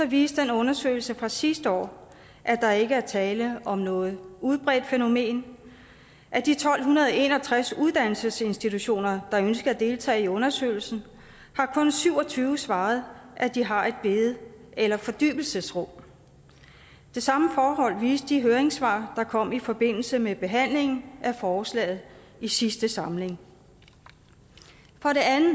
viste den undersøgelse fra sidste år at der ikke er tale om noget udbredt fænomen af de tolv en og tres uddannelsesinstitutioner der ønskede at deltage i undersøgelsen har kun syv og tyve svaret at de har et bede eller fordybelsesrum det samme forhold viste de høringssvar der kom i forbindelse med behandlingen af forslaget i sidste samling for det andet